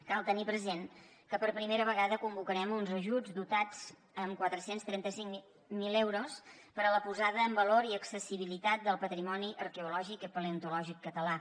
cal tenir present que per primera vegada convocarem uns ajuts dotats amb quatre cents i trenta cinc mil euros per a la posada en valor i accessibilitat del patrimoni arqueològic i paleontològic català